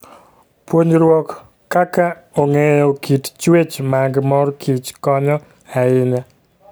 Puonjruok kaka ong'eyo kit chwech mag mor kich konyo ahinya.